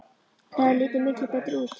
Það hefði litið miklu betur út.